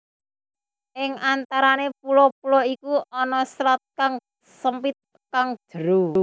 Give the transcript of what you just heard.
Ing antarane pulo pulo iku ana selat kang sempit kang jero